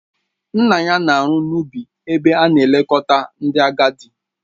Nna ya na-arụ n'ubi ebe a na-elekọta ndị agadi